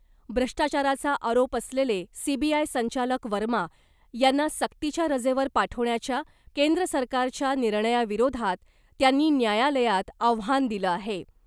भ्रष्टाचाराचा आरोप असलेले सीबीआय संचालक वर्मा यांना सक्तीच्या रजेवर पाठवण्याच्या केंद्र सरकारच्या निर्णयाविरोधात त्यांनी न्यायालयात आव्हान दिलं आहे .